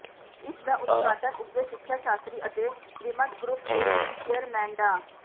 ਇਸ ਦਾ ਉਦਘਾਟਨ ਉੱਘੇ ਸਿੱਖਿਆ ਸ਼ਾਸਤਰੀ ਅਤੇ ਰਿਮਟ ਗਰੁੱਪ ਦੇ ਚੇਅਰਮੈਨ ਡਾ